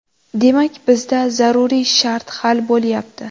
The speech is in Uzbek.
Demak, bizda zaruriy shart hal bo‘lyapti.